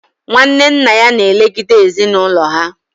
Nwanne nna ya na elegide ezinụlọ ha